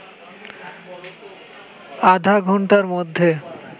আধা ঘণ্টার মধ্যে